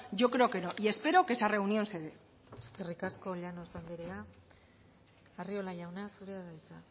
yo creo que no y espero que esa reunión se dé eskerrik asko llanos anderea arriola jauna zurea da hitza